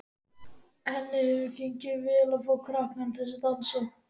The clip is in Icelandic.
Henni hefur gengið vel að fá krakkana til að dansa.